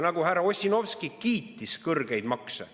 Härra Ossinovski kiitis kõrgeid makse.